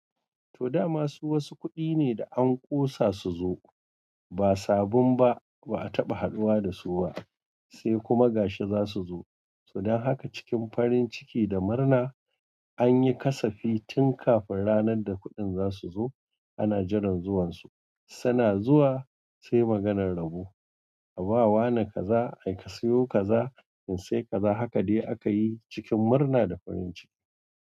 Toda masu wasu kuɗi ne da an ƙosa su zo, ba sabin ba ba a taɓa haduwa da su ba, sai kuma gashi za su zo. Don haka cikin farin ciki da murna anyi kasafi tun kafin ranar da kuɗin zasu zo ana jiran zuwan su. Tana zuwa sai maganan rabo a bawa na kaza ai ka siyo kaza in sai kaza haka dai akayi cikin murna da farin ciki.